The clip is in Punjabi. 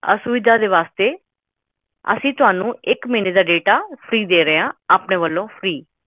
data freefree ਆਪਣੇ ਵੱਲੋਂ